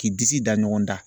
K'i disi da ɲɔgɔn da.